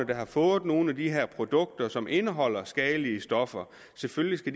der har fået nogle af de her produkter som indeholder skadelige stoffer selvfølgelig skal